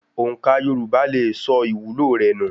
Òǹkà Yorùbá lè sọ ìwúlò rẹ nù.